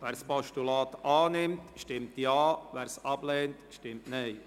Wer es annimmt, stimmt Ja, wer es ablehnt, stimmt Nein.